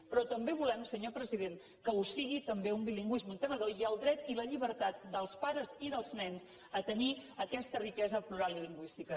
però també volem senyor president que ho sigui també un bilingüisme integrador i el dret i la llibertat dels pares i dels nens a tenir aquesta riquesa plural i lingüística